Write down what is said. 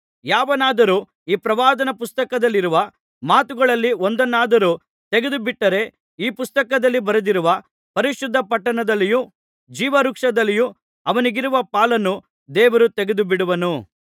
ಯಾವನಾದರೂ ಈ ಪ್ರವಾದನಾ ಪುಸ್ತಕದಲ್ಲಿರುವ ಮಾತುಗಳಲ್ಲಿ ಒಂದನ್ನಾದರೂ ತೆಗೆದುಬಿಟ್ಟರೆ ಈ ಪುಸ್ತಕದಲ್ಲಿ ಬರೆದಿರುವ ಪರಿಶುದ್ಧ ಪಟ್ಟಣದಲ್ಲಿಯೂ ಜೀವವೃಕ್ಷದಲ್ಲಿಯೂ ಅವನಿಗಿರುವ ಪಾಲನ್ನು ದೇವರು ತೆಗೆದುಬಿಡುವನು